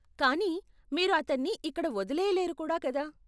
కానీ, మీరు అతన్ని ఇక్కడ వదిలేయలేరు కూడా కదా.